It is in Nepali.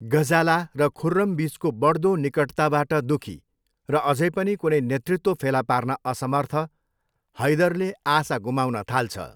गजाला र खुर्रम बिचको बढ्दो निकटताबाट दुखी, र अझै पनि कुनै नेतृत्व फेला पार्न असमर्थ, हैदरले आशा गुमाउन थाल्छ।